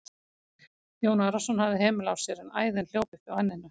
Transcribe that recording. Jón Arason hafði hemil á sér en æðin hljóp upp á enninu.